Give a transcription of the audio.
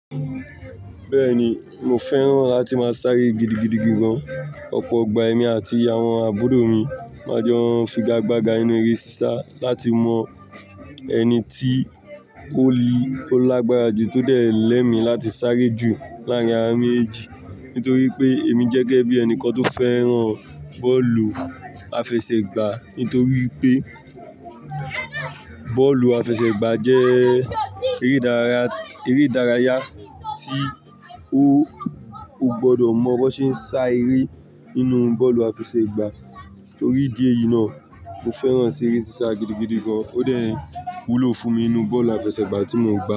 Bẹ́ẹ̀ni mo fẹ́ràn láti máa sáré gidigidi gan. Ọ̀pọ̀ igbà ẹ̀mi àti àwọn àbúrò mi máa jọ́ n figagbága nínú eré sisa láti mọ ẹni tí ó li, ó lágbára jù to dé lè mi láti sáré jù láàárín awa méjì. Nítorí pé èmi jẹ́gẹ́ bí ẹnìkan tó fẹ́ràn bọ́ọ̀lù àfẹsẹ̀gbá. Nítorí pé bọ́ọ̀lù àfẹsẹ̀gbá jẹ́ eré ìdárayá tí o gbọdọ mọ bó ṣe ń sá eré ínú bọ́ọ̀lù àfẹsẹ̀gbá. Orí ìdí èyí náà, mo fẹ́ràn eré sisa gidigidi gan. Ó dẹ̀ wúlò fún mi ínú bọ́ọ̀lù àfẹsẹ̀gbá tí mo ń gba.